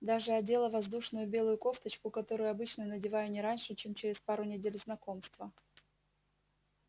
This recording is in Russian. даже одела воздушную белую кофточку которую обычно надеваю не раньше чем через пару недель знакомства